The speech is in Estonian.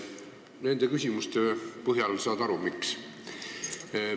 Nende küsimuste põhjal saad sa aru, miks.